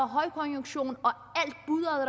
højkonjunktur